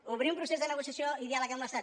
obrir un procés de negociació i diàleg amb l’estat